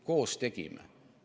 Koos tegime.